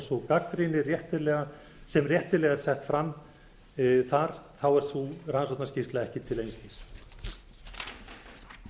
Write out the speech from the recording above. sú gagnrýni sem réttilega er sett fram þar þá er sú rannsóknarskýrsla ekki til einskis